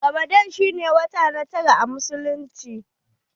Ramadan shi ne watan tara a musulunci.